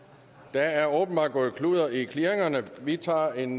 der er åbenbart gået kludder i clearingerne vi tager en